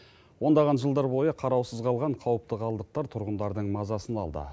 ондаған жылдар бойы қараусыз қалған қауіпті қалдықтар тұрғындардың мазасын алды